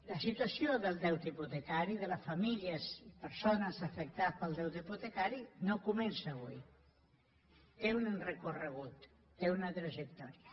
la situació del deute hipotecari de les famílies i persones afectades pel deute hipotecari no comença avui té un recorregut té una trajectòria